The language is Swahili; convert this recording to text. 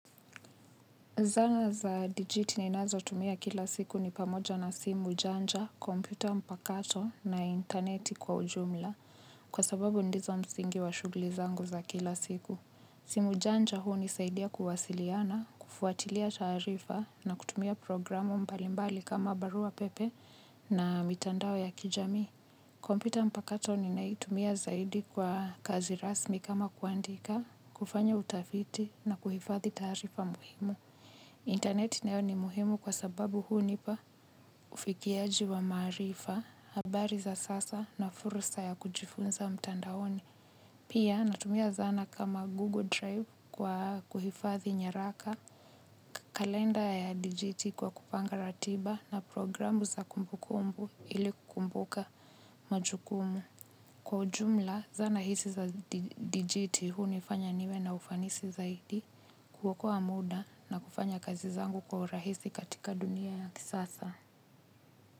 Zana za digiti ninazo tumia kila siku ni pamoja na simu janja, kompyuta mpakato na interneti kwa ujumla kwa sababu ndizo msingi wa shughuli zangu za kila siku. Simu janja hunisaidia kuwasiliana, kufuatilia taarifa na kutumia programu mbalimbali kama barua pepe na mitandao ya kijamii. Kompyuta mpakato ninaitumia zaidi kwa kazi rasmi kama kuandika, kufanya utafiti na kuhifadhi taarifa muhimu. Interneti nayo ni muhimu kwa sababu hunipa ufikiaji wa maarifa, habari za sasa na fursa ya kujifunza mtandaoni. Pia natumia zana kama Google Drive kwa kuhifadhi nyaraka, kalenda ya dijiti kwa kupanga ratiba na programu za kumbukumbu ili kumbuka majukumu. Kwa jumla zana hizi za dijiti hunifanya niwe na ufanisi zaidi kuokoa muda na kufanya kazi zangu kwa rahisi katika dunia ya kisasa.